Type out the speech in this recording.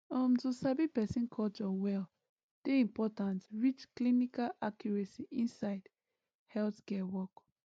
um to sabi person culture well dey important reach clinical accuracy inside healthcare work